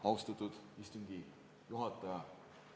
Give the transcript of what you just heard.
Austatud istungi juhataja!